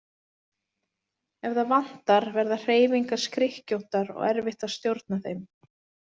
Ef það vantar verða hreyfingar skrykkjóttar og erfitt að stjórna þeim.